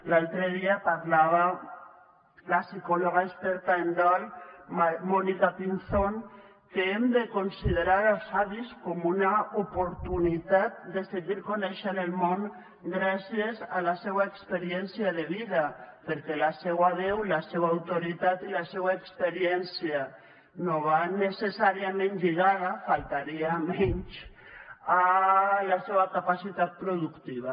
l’altre dia parlava la psicòloga experta en dol mònica pinzón que hem de considerar els avis com una oportunitat de seguir coneixent el món gràcies a la seva experiència de vida perquè la seva veu la seva autoritat i la seva experiència no van necessàriament lligada faltaria menys a la seva capacitat productiva